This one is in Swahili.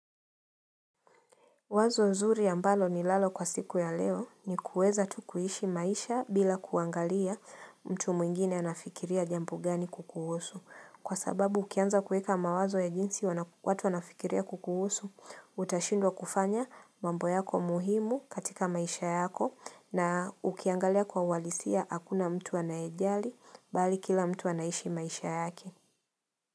Wazo zuri ambalo ninalo kwa siku ya leo ni kuweza tu kuhishi maisha bila kuangalia mtu mwingine anafikiria jambo gani kukuhusu. Kwa sababu ukianza kuweka mawazo ya jinsi watu wanafikiria kukuhusu, utashindwa kufanya mambo yako muhimu katika maisha yako na ukiangalia kwa uhalisia hakuna mtu anaejali bali kila mtu anaishi maisha yake.